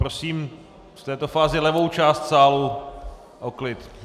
Prosím v této fázi levou část sálu o klid.